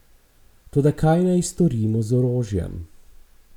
Toda kaj naj storimo z orožjem?